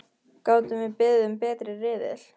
Gátum við beðið um betri riðil?!